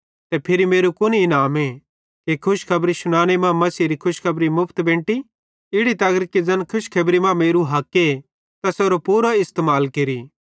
ते फिरी मेरू कुन इनामे कि खुशखबरी शुनाने मां मसीहेरी खुशखबरी मुफ्त बेंटी इड़ी तगर कि ज़ैन खुशखेबरी मां मेरू हक्के तैसेरो पूरो इस्तेमाल केरि